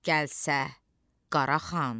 gəlsə Qara xan.